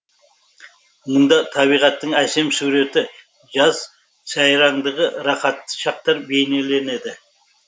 мұнда табиғаттың әсем суреті жаз сайраңдығы рахатты шақтар бейнеленеді